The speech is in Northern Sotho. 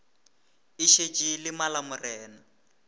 e šetše e le malamorena